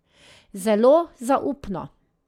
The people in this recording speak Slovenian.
Zelo zaupno.